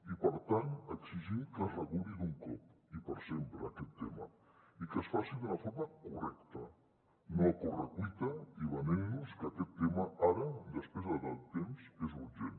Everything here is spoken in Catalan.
i per tant exigim que es reguli d’un cop i per sempre aquest tema i que es faci d’una forma correcta no a correcuita i venent nos que aquest tema ara després de tant temps és urgent